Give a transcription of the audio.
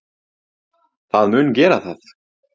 Það mun gera það.